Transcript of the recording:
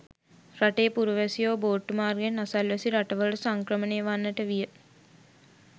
රටේ පුරවැසියෝ බෝට්ටු මාර්ගයෙන් අසල් වැසි රට වලට සංක්‍රමණය වන්නට විය.